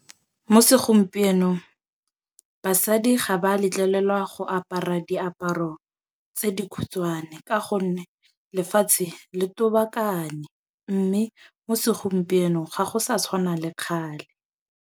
Mo segompienong basadi ga ba letlelelwa go apara diaparo tse dikhutshwane. Ka gonne lefatshe le tobakane. Mme mo segompienong ga go sa tshwana le kgale.